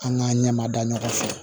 An ka ɲɛmada ɲɔgɔn fɛ